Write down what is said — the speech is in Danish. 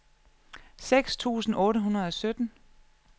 seks tusind otte hundrede og sytten